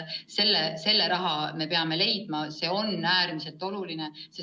Selle raha me peame leidma, see on äärmiselt oluline.